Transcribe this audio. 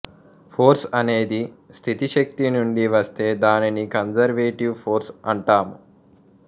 force అనేది స్థితిశక్తి నుండి వస్తే దానిని కంసెర్వేటివ్ ఫోర్స్ అంటాము